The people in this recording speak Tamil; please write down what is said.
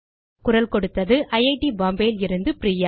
குரல் கொடுத்தது ஐட் பாம்பே லிருந்து பிரியா